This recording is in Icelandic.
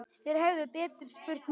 Þeir hefðu betur spurt mömmu.